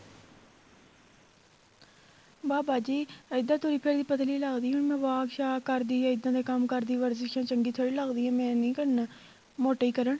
ਬਾਬਾ ਜੀ ਇੱਦਾਂ ਤੁਸੀਂ ਕਹਿ ਪੱਤਲੀ ਲੱਗਦੀ ਆ ਹੁਣ ਮੈਂ walk ਸ਼ਾਕ ਕਰਦੀਆਂ ਇਹਦਾ ਦੇ ਕੰਮ ਕਰਦੀ ਵਰਜਿਸ ਚੰਗੀ ਥੋੜੀ ਲੱਗਦੀ ਆ ਮੈਂ ਨਹੀਂ ਕਰਨਾ ਮੋਟੇ ਹੀ ਕਰਨ